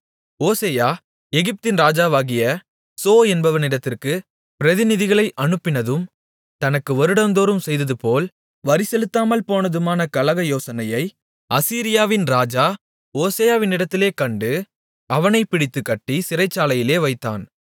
ஓசெயா எகிப்தின் ராஜாவாகிய சோ என்பவனிடத்திற்கு பிரதிநிதிகளை அனுப்பினதும் தனக்கு வருடந்தோறும் செய்ததுபோல் வரி செலுத்தாமல் போனதுமான கலக யோசனையை அசீரியாவின் ராஜா ஓசெயாவினிடத்திலே கண்டு அவனைப் பிடித்துக் கட்டிச் சிறைச்சாலையிலே வைத்தான்